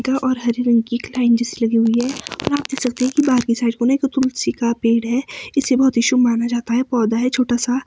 और हरी रंग की एक लाईन जैसी लगी हुई है और आप देख सकते है बाकि साइडों में जो तुलसी का पेड़ है इसे बहुत ही शुभ माना जाता है पौधा है छोटा सा।